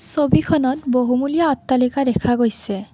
ছবিখনত বহুমূলীয়া অট্টালিকা দেখা গৈছে।